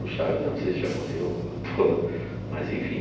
O Chaves, eu não sei se já morreu, o ator, mas enfim.